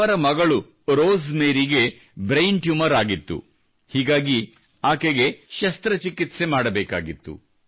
ಅವರ ಮಗಳು ರೋಸ್ ಮೇರಿಗೆ ಬ್ರೈನ್ ಟ್ಯೂಮರ್ ಆಗಿತ್ತು ಮತ್ತು ಹೀಗಾಗಿ ಆಕೆಗೆ ಶಸ್ತ್ರಚಿಕಿತ್ಸೆ ಮಾಡಬೇಕಾಗಿತ್ತು